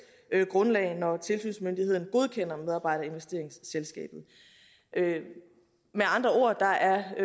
grundlag når tilsynsmyndighederne godkender medarbejderinvesteringsselskabet med andre ord er der